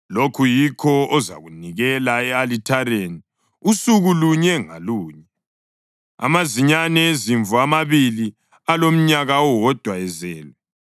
Lokhu yikho ozakunikela e-alithareni usuku lunye ngalunye: amazinyane ezimvu amabili alomnyaka owodwa ezelwe.